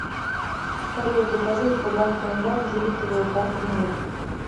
салют закажи в сбербанке онлайн дебетовую карту мир